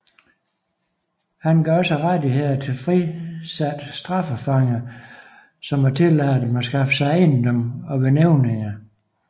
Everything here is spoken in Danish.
Han gav også rettigheder til frisatte straffefanger som at tillade dem at skaffe sig ejendom og være nævninger